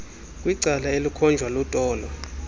kwicala elikhonjwa lutolo